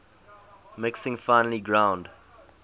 mixing finely ground